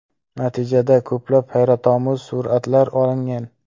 Natijada ko‘plab hayratomuz suratlar olingan.